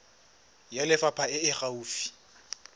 ya lefapha e e gaufi